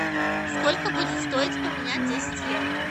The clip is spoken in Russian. сколько будет стоить поменять десять евро